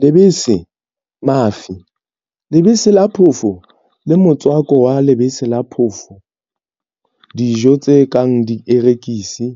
Lebese, mafi, lebese la phofo le motswako wa lebese la phofo dijo tse kang dierekisi,